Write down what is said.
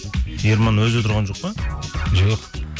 ерман өзі отырған жоқ па жоқ